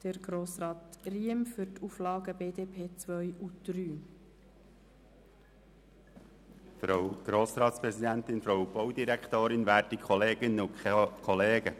Deshalb erteile ich das Wort nun Grossrat Riem zur Begründung der Auflagen 2 und 3.